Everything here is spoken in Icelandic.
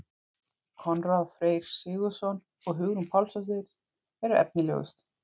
Konráð Freyr Sigurðsson og Hugrún Pálsdóttir voru efnilegust.